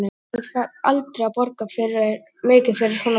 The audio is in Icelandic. Hann færi aldrei að borga mikið fyrir svona prjál.